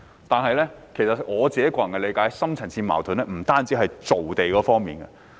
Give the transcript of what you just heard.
然而，按照我的個人理解，"深層次矛盾"不限於造地方面。